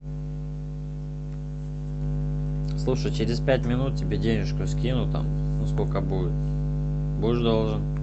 слушай через пять минут тебе денежку скину там ну сколько будет будешь должен